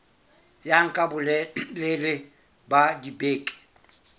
ya nka bolelele ba dibeke